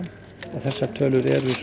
þessar tölur eru